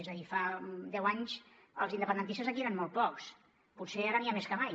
és a dir fa deu anys els independentistes aquí eren molt pocs potser ara n’hi ha més que mai